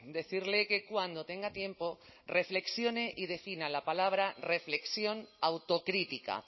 decirle que cuando tenga tiempo reflexione y defina la palabra reflexión autocrítica